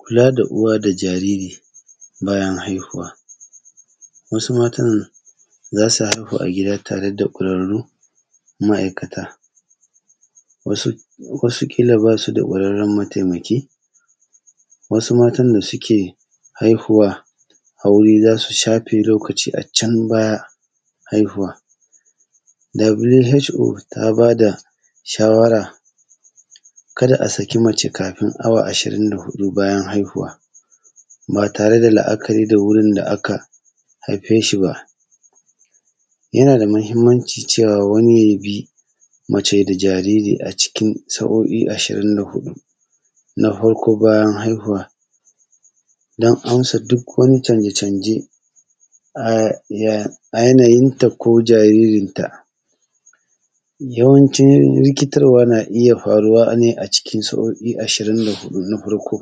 Kula da uwa da jariri bayan haihuwa. Wasu matan za su haihu a gida tare da ƙwararun ma’aikata, wasu kila basu da ƙwararrun mataimaki, wasu matan da suke haihuwa a wuri za su shafe lokaci acan bayan haihuwa. (WHO) ta bada shawara kada a saki mace kafin awa ashirin da huɗu bayan haihuwa, ba tare da la’akari da wurin da aka haifeshi ba. Yana da mahimmanci cewa wani yabi mace da jariri a cikin sa’o’i ashirin da huɗu. Na farko bayan haihuwa, don amsa duk wani canje-canje a yana yinta ko jaririnta, yawancin rikitarwa na iya faruwa ne a cikin sa’o’i ashirin da huɗu Na farko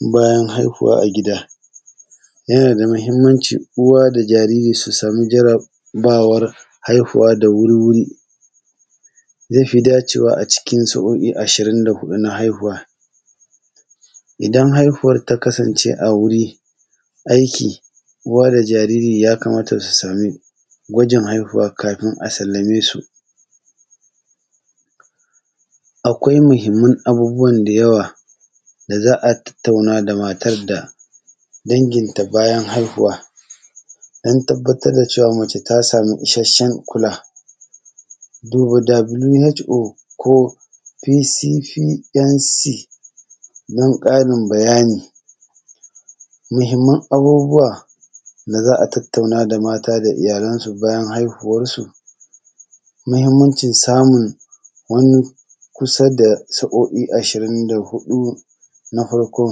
bayan haihuwa a gida, yana da mahimmanci da jariri su samu jarabawar haihuwa da wurwuri, zai fi dacewa a cikin sa’o’i ashirin da huɗu na haihuwa. Idan haihuwar ta kasance a wuri aiki, uwa da jariri ya kamata su sami gwajin haihuwa kafin a sallamesu. Akwai mahimman abubuwan da yawa za a tattauna da matar da danginta bayan haihuwa, don tabbatar da cewa mace ta samu isashen kula. Duba (WHO) ko (PCPNC) don ƙarin b bayani. Muhimman abubuwa da za tattauna da mata da iyalansu bayan haihuwansu, muhimmancin samun wani kusa da sa’o’i ashirin da huɗu na farko.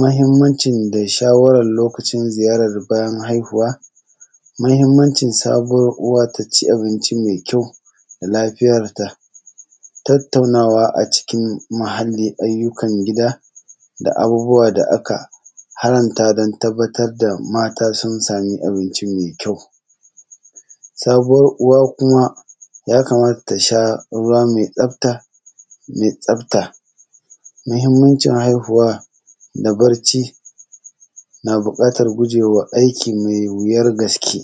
Mahimmancin da shawaran lokacin ziyarar bayan haihuwa, mahimmanci sabuwar uwa taci abinci mai kyau da lafiyarta, tattaunawa a cikin muhali, ayyukan gida da abubuwa da aka haranta don tabbatar da mata sun samu abinci mai kyau. Sabuwar uwa kuma ya kamata tasha ruwa mai tsafta, muhimmanci haihuwa da barci na buƙatan gujewa aiki mai wuyar gaske.